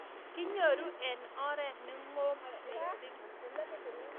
Kinyoru eng' oret ne ng'om mising'